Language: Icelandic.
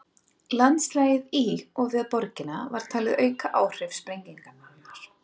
Landslagið í og við borgina var talið auka áhrif sprengingarinnar.